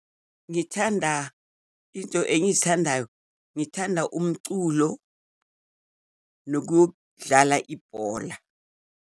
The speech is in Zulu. Ngithanda, into engizithandayo, ngithanda umculo nokudlala ibhola.